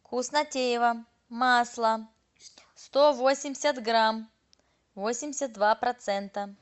вкуснотеево масло сто восемьдесят грамм восемьдесят два процента